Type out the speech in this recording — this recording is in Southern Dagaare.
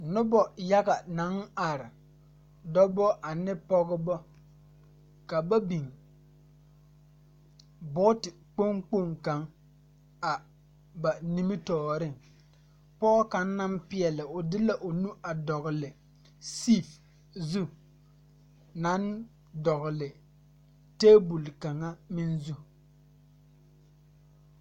Nobɔ yaga naŋ are dɔbɔ ane pɔgebɔ ka ba biŋ boote kpoŋ kpoŋ kaŋ a ba nimitooreŋ pɔɔ kaŋ naŋ peɛle o de la o nu a dɔgle tee zu naŋ dɔgle tabol kaŋa meŋ zu.